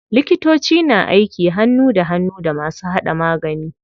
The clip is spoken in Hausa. Likitoci na aiki hannu da hannu da masu hada magani.